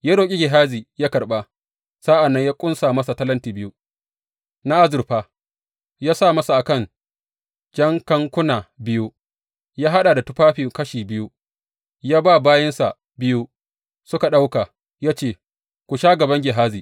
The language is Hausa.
Ya roƙi Gehazi yă karɓa, sa’an nan ya ƙunsa masa talentin biyu na azurfa ya sa masa a kan jakankuna biyu, ya haɗa da tufafi kashi biyu, ya ba bayinsa biyu suka ɗauka, ya ce su sha gaban Gehazi.